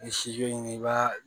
N'i ye ɲini i b'a